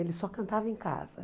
Ele só cantava em casa.